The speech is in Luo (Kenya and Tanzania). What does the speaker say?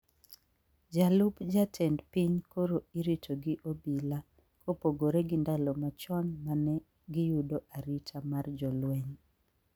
Jalup jatend piny koro irito gi obila kopogore gi ndalo machon mane giyudo arita mar jolweny